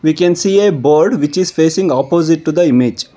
we can see a board which is placing opposite to the image.